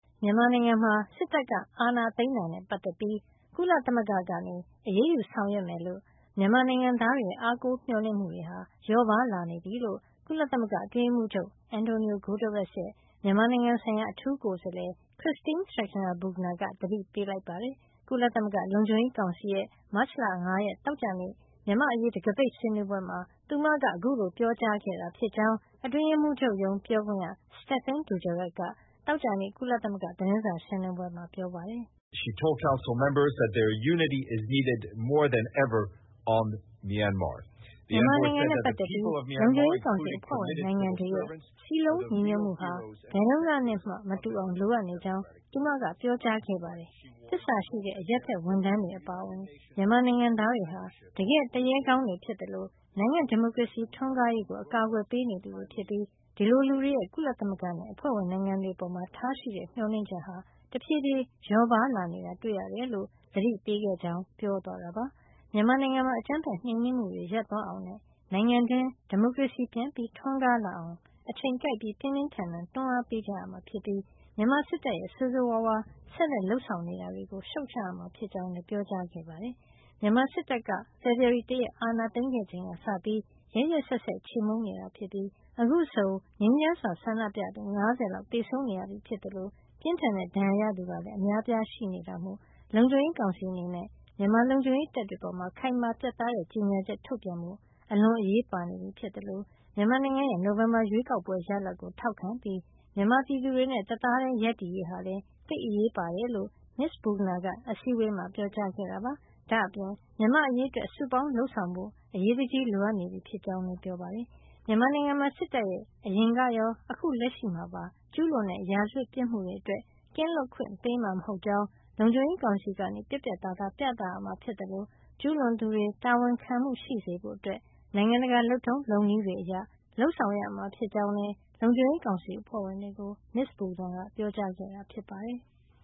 မြန်မာနိုင်ငံမှာ စစ်တပ်က အာဏာသိမ်းတာနဲ့ ပတ်သက်ပြီး ကုလသမဂ္ဂက အရေးယူ ဆောင်ရွက်မယ်လို့ မြန်မာနိုင်ငံသားတွေရဲ့ အားကိုးမျှော်လင့်မှုတွေ လျော့ပါးလာနေပြီလို့ ကုလသမဂ္ဂအတွင်းရေးမှူးချုပ် Antonio Guterres ရဲ့ မြန်မာနိုင်ငံဆိုင်ရာ အထူးကိုယ်စားလှယ် Christine Schreiner Bergner က သတိပေးလိုက် ပါတယ်။ ကုလသမဂ္ဂလုံခြုံရေးကောင်စီရဲ့ မတ်လ ၅ ရက်သောကြာနေ့ မြန်မာ့အရေး တံခါးပိတ်ဆွေးနွေးပွဲမှာ သူမက အခုလို ပြောကြားခဲ့တာ ဖြစ်ကြောင်း အတွင်းရေးမှုးချုပ်ရုံးပြောခွင့်ရ Stéphane Dujarric က သောကြာနေ့ ကုလသမဂ္ဂသတင်းစာ ရှင်းလင်းပွဲမှာ ပြောပါတယ်။ “မြန်မာနိုင်ငံနဲ့ ပတ်သက်ပြီး လုံခြုံရေးကောင်စီ အဖွဲ့ဝင်နိုင်ငံတွေရဲ့ စည်းလုံးညီညွတ်မှုဟာ ဘယ်တုန်းကနဲ့မှ မတူအောင် လိုအပ်နေကြောင်း သူမကပြောကြားခဲ့ပါတယ်။ သစ္စာရှိတဲ့ အရပ်ဖက်ဝန်ထမ်းတွေ အပါအဝင် မြန်မာနိုင်ငံသားတွေဟာ တကယ့် သူရဲကောင်းတွေ ဖြစ်သလို နိုင်ငံ့ဒီမိုကရေစီ ထွန်းကားရေးကို အကာကွယ်ပေးနေသူတွေဖြစ်ပြီး ဒီလို လူတွေရဲ့ ကုလသမဂ္ဂနဲ့ အဖွဲ့ဝင်နိုင်ငံတွေ အပေါ်ထားရှိတဲ့ မျှော်လင့်ချက်ဟာ တဖြေးဖြေး လျော့ပါးလာနေတာ တွေ့ရတယ်လို့ သတိပေးခဲ့ကြောင်း ပြောသွားတာပါ။ မြန်မာနိုင်ငံမှာ အကြမ်းဖက်နှိမ်နင်းမှုတွေ ရပ်သွားအောင်နဲ့ နိုင်ငံတွင်း ဒီမိုကရေစီပြန်ထွန်းကားလာအောင် အချိန်ကိုက်ပြီး ပြင်းပြင်းထန်ထန် တွန်းအားပေးကြ ရမှာ ဖြစ်ပြီး မြန်မာစစ်တပ်ရဲ့ ဆိုးဆိုးဝါးဝါး ဆက်လက် လုပ်ဆောင်နေတာတွေကို ရှုတ်ချကြရမှာ ဖြစ်ကြောင်းလည်း ပြောကြားခဲ့တယ်လို့ ဆိုပါတယ်။ မြန်မာစစ်တပ်က ဖေဖေါ်ဝါရီ ၁ ရက်အာဏာသိမ်းခဲ့ချိန်ကစပြီး ရက်ရက်စက်စက် ခြေမှုန်းနေတာဖြစ်ပြီး အခုဆို ငြိမ်းချမ်းစွာ ဆန္ဒပြသူ ၅၀ လောက် သေဆုံးခဲ့ရပြီဖြစ်သလို ပြင်းထန်တဲ့ဒဏ်ရာရသူ အများအပြား ရှိနေပြီ ဖြစ်တဲ့အတွက် လုံခြုံရေးကောင်စီအနေနဲ့ မြန်မာလုံခြုံရေးတပ်တွေ အပေါ် ခိုင်မာပြတ်သားတဲ့ ကြေညာချက် ထုတ်ပြန်ဖို့ အလွန်အရေးပါ နေပြီဖြစ်သလို မြန်မာနိုင်ငံရဲ့ နိုဝင်ဘာ ရွေးကောက်ပွဲရလဒ်ကို ထောက်ခံပြီး မြန်မာပြည်သူတွေနဲ့ တသားတည်း ရပ်တည်ရေးဟာလည်း သိပ်အရေးပါကြောင်း မစ္စ Bergner က အစည်းအဝေးမှာ ပြောကြားခဲ့တာပါ။ ဒါ့အပြင် မြန်မာ့အရေးအတွက် စုပေါင်းလုပ်ဆောင်ဖို့ အရေးတကြီး လိုအပ်နေပြီဖြစ်ကြောင်းလည်း လုံခြုံရေးကောင်စီမှာ ပြောကြားခဲ့ပါတယ်။ မြန်မာနိုင်ငံမှာ စစ်တပ်ရဲ့ အရင်ကရော အခုလက်ရှိမှာပါ ကျူးလွန်တဲ့ ရာဇဝတ်ပြစ်မှုတွေ အတွက် ကင်းလွတ်ခွင့် ပေးမှာ မဟုတ်ကြောင်း လုံခြုံရေးကောင်စီက ပြတ်ပြတ်သားသား ပြသရမှာ ဖြစ်သလို ကျူးလွန်သူတွေ တာဝန်ခံမှုရှိစေဖို့ နိုင်ငံတကာ လုပ်ထုံးလုပ်နည်း တွေအရ လုပ်ဆောင်ရမှာ ဖြစ်ကြောင်း လုံခြုံရေးကောင်စီ အဖွဲ့ဝင်တွေကို မစ္စ Bergner က ပြောကြားခဲ့တာ ဖြစ်ပါတယ်။